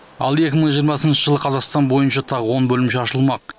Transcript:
ал екі мың жиырмасыншы жылы қазақстан бойынша тағы он бөлімше ашылмақ